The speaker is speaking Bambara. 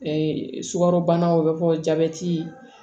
sukarobana o bɛ fɔ jabɛti